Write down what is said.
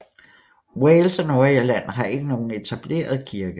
Wales og Nordirland har ikke nogen etableret kirke